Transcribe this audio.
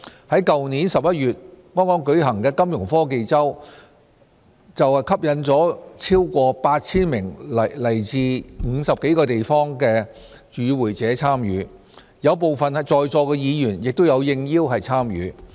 剛在去年11月舉行的金融科技周便吸引了超過 8,000 名來自50多個地方的與會者參與，有部分在座議員亦應邀參與。